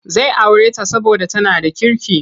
Zai aure ta saboda tana da kirki.